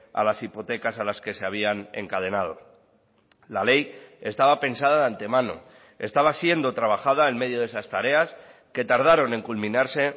a las hipotecas a las que se habían encadenado la ley estaba pensada de antemano estaba siendo trabajada en medio de esas tareas que tardaron en culminarse